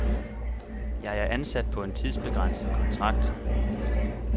Jeg er ansat på en tidsbegrænset kontrakt.